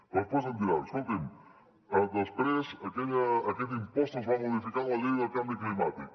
però després em diran escolti’m després aquest impost es va modificar en la llei del canvi climàtic